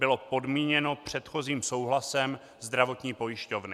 bylo podmíněno předchozím souhlasem zdravotní pojišťovny.